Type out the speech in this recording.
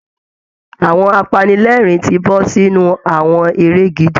Àwọn apanilẹ́ẹ̀rín ti bọ́ sínú àwọn eré gidi